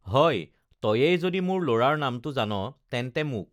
হয় তয়েই যদি মোৰ লৰাৰ নামটো জান তেন্তে মোক